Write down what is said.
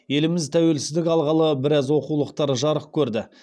еліміз тәуелсіздік алғалы біраз оқулықтар жарық көрді